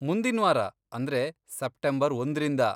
ಮುಂದಿನ್ವಾರ, ಅಂದ್ರೆ ಸೆಪ್ಟೆಂಬರ್ ಒಂದ್ರಿಂದ.